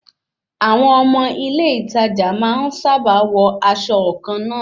Àwọn ọmọ ilé ìtajà máa ń sábà wọ aṣọ kàn náà